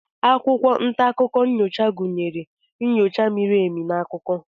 akwụkwọ nta akụkọ nyocha gụnyere nyocha miri emi na akụkọ